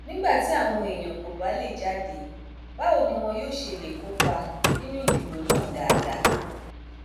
nígbà tí àwọn èèyàn kò bá lè jáde báwo ni wọn yóò ṣe lè kópa nínú ìdìbò náà dáadáa